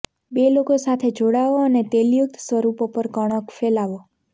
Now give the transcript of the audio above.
બે લોકો સાથે જોડાઓ અને તેલયુક્ત સ્વરૂપો પર કણક ફેલાવો